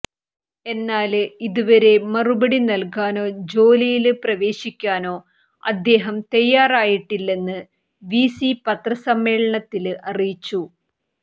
എന്നാല് ഇതുവരെ മറുപടി നല്കാനോ ജോലിയില് പ്രവേശിക്കാനോ അദ്ദേഹം തയ്യാറായിട്ടില്ലെന്ന് വി സി പത്രസമ്മേളനത്തില് അറിയിച്ചു